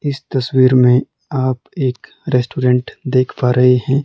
इस तस्वीर में आप एक रेस्टोरेंट देख पा रहे हैं।